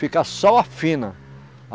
Fica só a fina. A